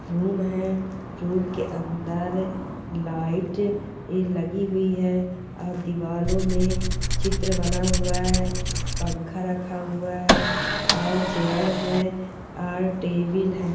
Room है room के अंदर लाइट लगी हुई है और दीवारों में चित्र बना हुआ है पंखा रखा हुआ है और चेयर है और टेबल है।